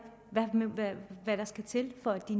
hvad der skal til for at de